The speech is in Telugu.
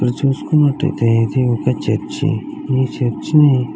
ఇప్పుడు చూసుకున్నట్లయితే ఇది ఒక చర్చి మీ చర్చిని.